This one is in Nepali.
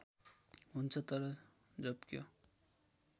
हुन्छ तर झोप्क्यो